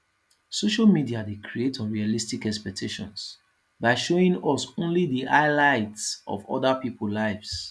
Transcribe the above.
social media dey create unrealistic expectations by showing us only di highlight of oda peoples lives